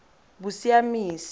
bosiamisi